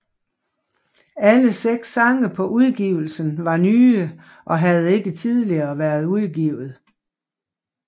Alle seks sange på udgivelsen var nye og havde ikke tidligere været udgivet